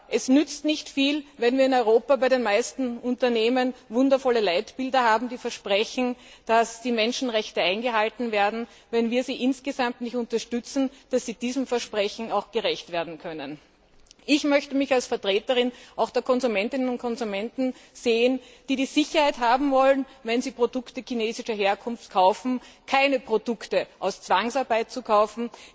Es nützt nicht viel, wenn wir in Europa bei den meisten Unternehmen wundervolle Leitbilder haben, die versprechen, dass die Menschenrechte eingehalten werden, wenn wir sie insgesamt nicht unterstützen, dass sie diesem Versprechen auch gerecht werden können Ich möchte mich auch als Vertreterin der Konsumentinnen und Konsumenten sehen, die die Sicherheit haben wollen, wenn sie Produkte chinesischer Herkunft kaufen, keine Produkte aus Zwangsarbeit zu kaufen.